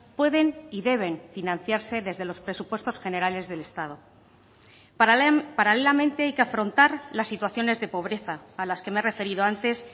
pueden y deben financiarse desde los presupuestos generales del estado paralelamente hay que afrontar las situaciones de pobreza a las que me he referido antes